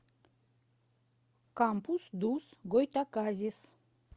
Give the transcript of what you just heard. кампус дус гойтаказис